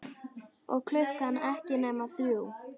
Og klukkan ekki nema þrjú.